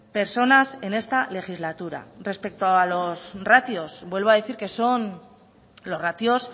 personas en esta legislatura respecto a los ratios vuelvo a decir que son los ratios